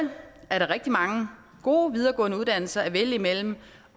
er der rigtig mange gode videregående uddannelser at vælge imellem